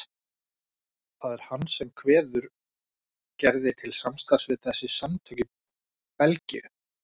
Það er hann sem kveður Gerði til samstarfs við þessi samtök í Belgíu.